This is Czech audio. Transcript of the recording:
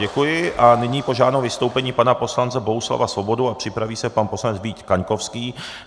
Děkuji a nyní požádám o vystoupení pana poslance Bohuslava Svobodu a připraví se pan poslanec Vít Kaňkovský.